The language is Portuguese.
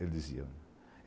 Ele dizia.